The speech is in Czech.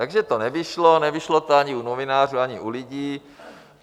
Takže to nevyšlo, nevyšlo to ani u novinářů, ani u lidí.